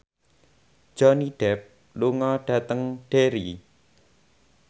Johnny Depp lunga dhateng Derry